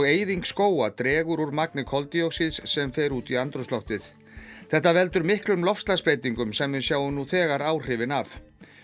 eyðing skóga dregur úr magni koldíoxíðs sem fer út í andrúmsloftið þetta veldur miklum loftslagsbreytingum sem við sjáum nú þegar áhrifin af